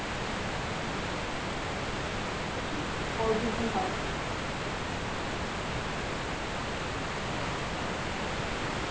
দেখি কতদূর কি হয়!